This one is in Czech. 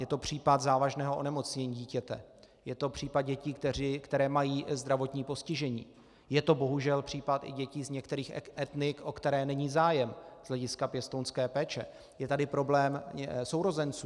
Je to případ závažného onemocnění dítěte, je to případ dětí, které mají zdravotní postižení, je to bohužel případ i dětí z některých etnik, o které není zájem z hlediska pěstounské péče, je tady problém sourozenců.